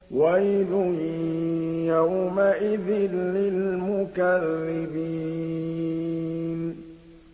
وَيْلٌ يَوْمَئِذٍ لِّلْمُكَذِّبِينَ